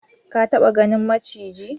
Ka taba ganin maciji?